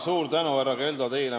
Suur tänu, härra Keldo, teile!